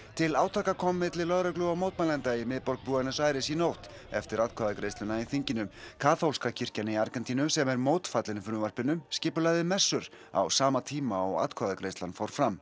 til átaka kom milli lögreglu og mótmælenda í miðborg Buenos Aires í nótt eftir atkvæðagreiðsluna í þinginu kaþólska kirkjan í Argentínu sem er mótfallin frumvarpinu skipulagði messur á sama tíma og atkvæðagreiðslan fór fram